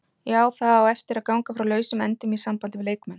Já, það á eftir að ganga frá lausum endum í sambandi við leikmenn.